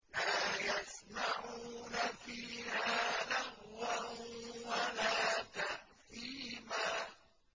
لَا يَسْمَعُونَ فِيهَا لَغْوًا وَلَا تَأْثِيمًا